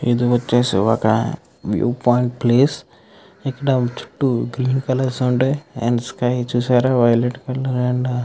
ఇది ఒచేసి ఒక న్యూ పాయింట్ ప్లేస్ ఒక డౌట్ గ్రీన్ కలర్ --